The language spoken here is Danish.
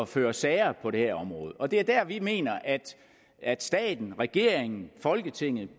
føre sager på det her område og det er der hvor vi mener at at staten regeringen folketinget